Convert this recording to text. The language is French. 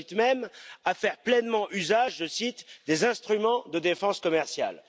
On incite même à faire pleinement usage des instruments de défense commerciale.